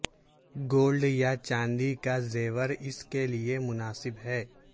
gold یا چاندی کا زیور اس کے لئے مناسب ہے